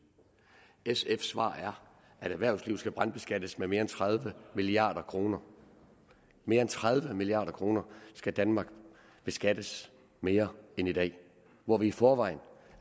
sfs svar er at erhvervslivet skal brandskattes med mere end tredive milliard kroner mere end tredive milliard kroner skal danmark beskattes mere end i dag hvor vi i forvejen